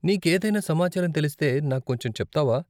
నీకేదైనా సమాచారం తెలిస్తే నాకు కొంచెం చెప్తావా?